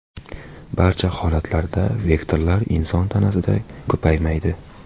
Barcha holatlarda vektorlar inson tanasida ko‘paymaydi.